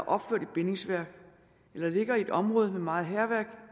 opført i bindingsværk eller ligger i et område med meget hærværk